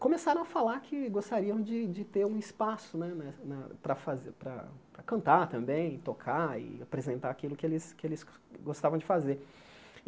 começaram a falar que gostariam de de ter um espaço né né na para fa para cantar também, tocar e apresentar aquilo que eles que eles gostavam de fazer.